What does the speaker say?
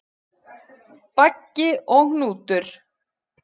Baggi og Hnútur,